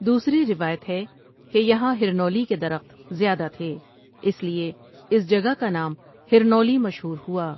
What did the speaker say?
دوسری روایت ہے کہ یہاں ہرنولی کے درخت زیادہ تھے اس لیے اس جگہ کا نام ہرنولی مشہور ہوا۔